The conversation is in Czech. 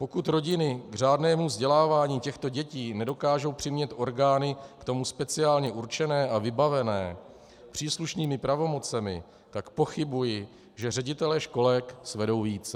Pokud rodiny k řádnému vzdělávání těchto dětí nedokážou přimět orgány k tomu speciálně určené a vybavené příslušnými pravomocemi, tak pochybuji, že ředitelé školek svedou více.